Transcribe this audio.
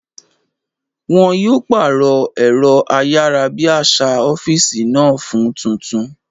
Wọn yóò pàrọ̀ ẹ̀rọ ayárabíàṣá ọ́físì náà fún tuntun